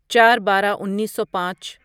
چار بارہ انیسو پانچ